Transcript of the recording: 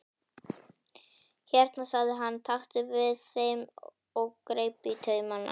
Hérna sagði hann, taktu við þeim og greip taumana.